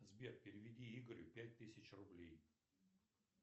сбер переведи игорю пять тысяч рублей